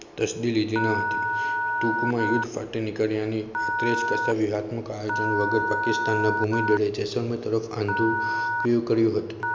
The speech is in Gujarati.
તસ્થી લીધી ન હતી. ટૂંકમાં યુદ્ધ ફાટી નીકળ્યા ની આયોજન વગર પાકિસ્તાન ના ભૂમિ જૈસલમેર તરફ આંધુ લીધું હતું.